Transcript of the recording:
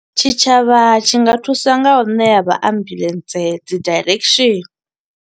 Tshitshavha tshi nga thusa nga u ṋea vha ambuḽentse dzi direction.